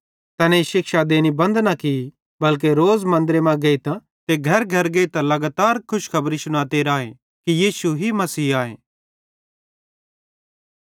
तैनेईं शिक्षा देनी बंद न की बल्के रोज़ मन्दरे मां गेइतां ते घरघर गेइतां लगातार खुशखबरी शुनाते राए कि यीशु ही मसीह आए